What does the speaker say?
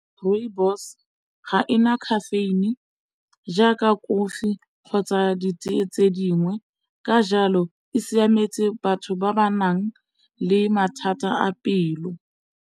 Rooibos ga ena caffeine jaaka kofi kgotsa ditee tse dingwe, ka jalo e siametse batho ba ba nang le mathata a pelo.